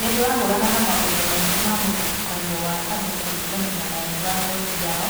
Nĩ tũrahũũrana na maũndu maingĩ ma mũthutũkanio wa andũ kũringana na rangi wa ngothi yao,